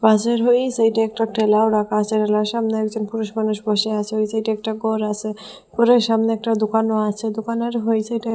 হাজির হই সাইডে একটা ঠেলাও রাখা আছে ঠেলার সামনে একজন পুরুষ মানুষ বসে আছে ওই সাইডে একটা ঘর আসে ঘরের সামনে একটা দোকানও আছে দোকানের হই সাইডে--